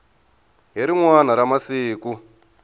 hi rin wana ra masiku